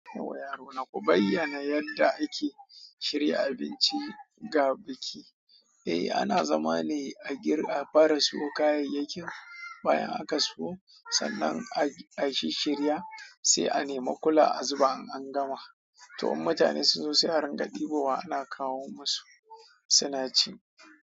Yauwayaro na, ku bayyana yadda ake shirya abinci ga biki. Ehhh ana zama ne a fara siyo kayaiyakin bayan aka siyo san a shirshirya sai a nema kula azuba in an gama to in mutane sun zo, sai a ringa ɗibowa ana kawo masu suna ci.